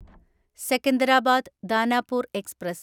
Secunderabad Danapur express